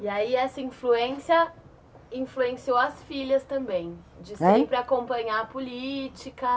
E aí essa influência influenciou as filhas também, hein? de sempre acompanhar a política.